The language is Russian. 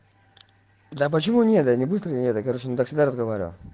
да почему нет я не быстро нет короче с ним так всегда разговариваю